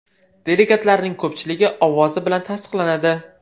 Delegatlarning ko‘pchilik ovozi bilan tasdiqlanadi.